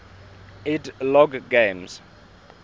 ed logg games